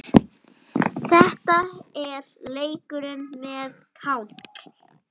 Þetta er leikur með tákn